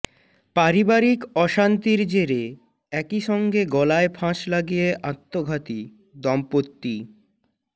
পারিবারিক অশান্তির জেরে একইসঙ্গে গলায় ফাঁস লাগিয়ে আত্মঘাতী দম্পতি